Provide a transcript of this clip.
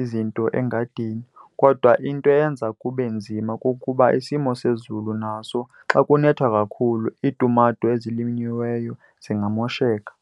izinto engadini. Kodwa into eyenza kube nzima kukuba isimo sezulu naso xa kunetha kakhulu iitumato ezilinyiweyo zingamosheka.